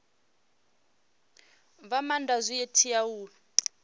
fha maanda zwi tea u